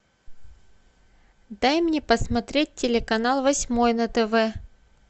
дай мне посмотреть телеканал восьмой на тв